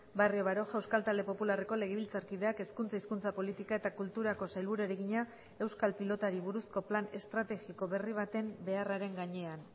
barrio baroja euskal talde popularreko legebiltzarkideak hezkuntza hizkuntza politika eta kulturako sailburuari egina euskal pilotari buruzko plan estrategiko berri baten beharraren gainean